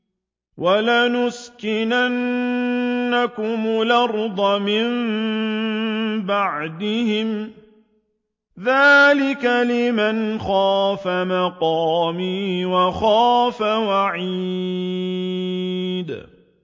وَلَنُسْكِنَنَّكُمُ الْأَرْضَ مِن بَعْدِهِمْ ۚ ذَٰلِكَ لِمَنْ خَافَ مَقَامِي وَخَافَ وَعِيدِ